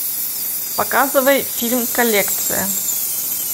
показывай фильм коллекция